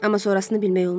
Amma sonrasını bilmək olmaz.